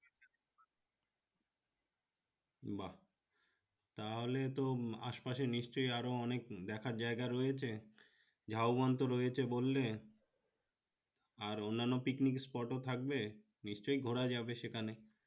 বাহ! তাহলে তো আশ পাশে নিশ্চই আরো অনেক দেখার জিনিস রয়েছে ঝাউবন তো রয়েছে বললে আর অন্যন্য picnic spot ও থাকবে নিশ্চই ঘুরা যাবে সেখানে